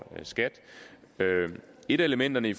skat et af elementerne i